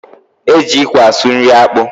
E ji ikwe asụ nri akpu